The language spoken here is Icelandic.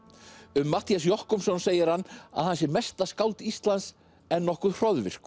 um Matthías Jochumsson segir hann að hann sé mesta skáld Íslands en nokkuð